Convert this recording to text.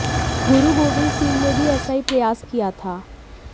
गुरु गोविंद सिंह ने भी ऐसा ही प्रयास किया था